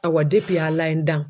Awa Ala ye n dan.